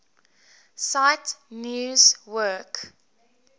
cite news work